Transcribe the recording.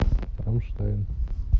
рамштайн